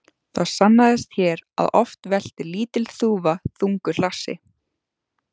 Það sannaðist hér að oft veltir lítil þúfa þungu hlassi.